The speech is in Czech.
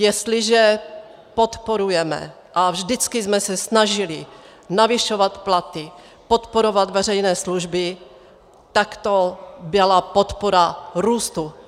Jestliže podporujeme a vždycky jsme se snažili navyšovat platy, podporovat veřejné služby, tak to byla podpora růstu.